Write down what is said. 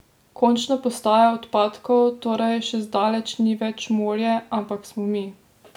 Končna postaja odpadkov torej še zdaleč ni več morje, ampak smo mi!